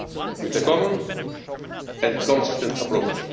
one, with a common and consistent approach.